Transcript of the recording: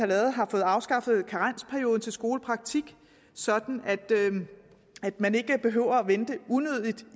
lavet har fået afskaffet karensperioden for skolepraktik så man ikke behøver at vente unødigt